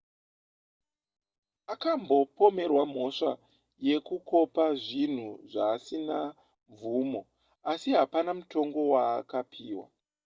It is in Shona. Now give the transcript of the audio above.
akambopomerwa mhosva yekukopa zvinhu zvaasina mvumo asi hapana mutongo waakapiwa